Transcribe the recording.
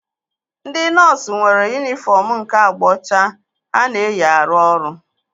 Ndị nọọsu nwere yunifọm nke agba ọcha ha na-eyi arụ ọrụ